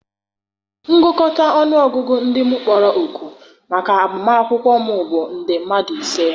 ngụkọta ọnụ ọgụgụ ndị m kpọrọ òkù maka agbamakwụkwọ m bụ nde mmadụ ise.